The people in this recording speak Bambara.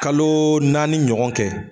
Kaloo naani ɲɔgɔn kɛ